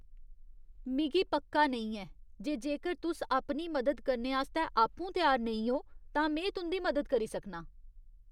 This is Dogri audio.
मिगी पक्का नेईं ऐ जे जेकर तुस अपनी मदद करने आस्तै आपूं त्यार नेईं ओ तां में तुं'दी मदद करी सकनां।